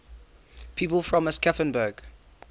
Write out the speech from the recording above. people from aschaffenburg